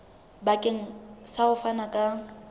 bakeng sa ho fana ka